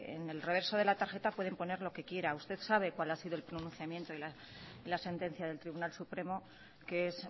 en el reverso de la tarjeta pueden poner lo que quiera usted sabe cuál ha sido el pronunciamiento y la sentencia del tribunal supremo que es